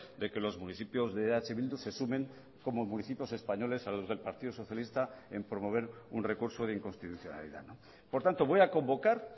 de que los municipios de eh bildu se sumen como municipios españoles a los del partido socialista en promover un recurso de inconstitucionalidad por tanto voy a convocar